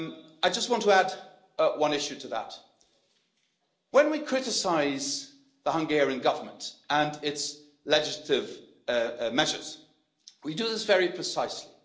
I just want to add one issue to that when we criticise the Hungarian Government and its legislative measures, we do this very precisely.